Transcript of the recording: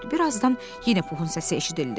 Bir azdan yenə Puxun səsi eşidildi.